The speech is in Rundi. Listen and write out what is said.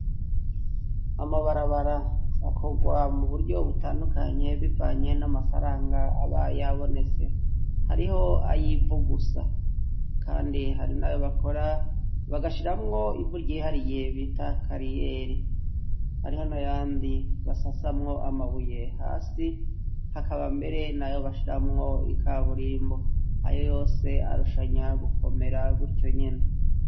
Amabarabara akogwa mu buryo butandukanye bivanye n'amafaranga aba yabonetse, hariho ayivugusa kandi hari nayo bakora bagashiramwo ivu ryihariye bita kariyeri, hariho n'ayandi basasamwo amabuye hasi hakaba mbere nayo bashiramwo ikaburimbo, ayo yose arushanya gukomera gutyo nyene.